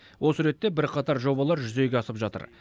осы ретте бірқатар жобалар жүзеге асып жатыр